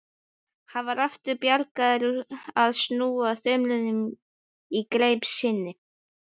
Hann var aftur byrjaður að snúa þumlunum í greip sinni.